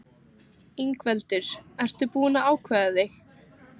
Ingveldur: Ert þú búinn að ákveða þig?